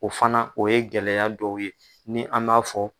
O fana o ye gɛlɛya dɔw ye ni an b'a fɔ